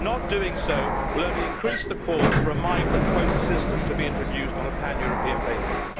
Not doing so will only increase the calls for a migrant quota system to be introduced on a pan European basis.